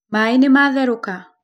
Maĩ nĩmatherũka?